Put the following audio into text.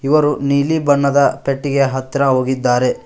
ಇಬ್ಬರು ನೀಲಿ ಬಣ್ಣದ ಪೆಟ್ಟಿಗೆ ಹತ್ರ ಹೋಗಿದ್ದಾರೆ.